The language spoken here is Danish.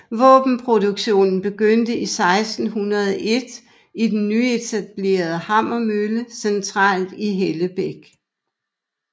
Våbenproduktionen begyndte i 1601 i den nyetablerede hammermølle centralt i Hellebæk